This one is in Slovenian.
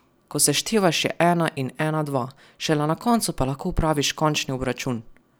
Ko seštevaš je ena in ena dva, šele na koncu pa lahko opraviš končni obračun.